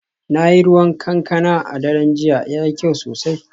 Na yi ruwan kankana a daren jiya, yayi kyau sosai